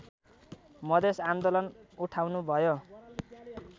मधेस आन्दोलन उठाउनुभयो